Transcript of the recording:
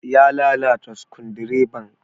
Ya lalata sukundireban.